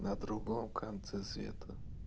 на другом конце света